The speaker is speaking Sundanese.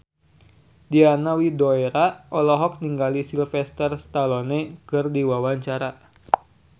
Diana Widoera olohok ningali Sylvester Stallone keur diwawancara